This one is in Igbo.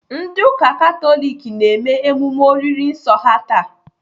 Ndị ụka Katọlik na-eme emume oriri nsọ ha taa.